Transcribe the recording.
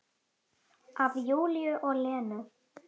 Af Júlíu og Lenu.